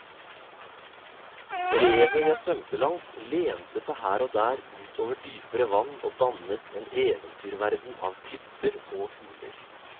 Revet jeg svømte langs lente seg her og der ut over dypere vann og dannet en eventyrverden av klipper og huler.